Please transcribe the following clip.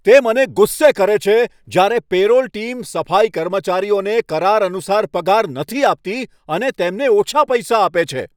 તે મને ગુસ્સે કરે છે જ્યારે પે રોલ ટીમ સફાઈ કર્મચારીઓને કરાર અનુસાર પગાર નથી આપતી અને તેમને ઓછા પૈસા આપે છે.